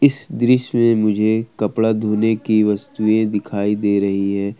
इस दृश्य में मुझे कपड़ा धोने की वस्तुएं दिखाई दे रही है।